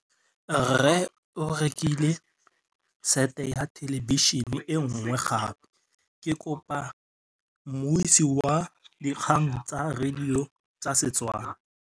Rre o rekile sete ya thêlêbišênê e nngwe gape. Ke kopane mmuisi w dikgang tsa radio tsa Setswana.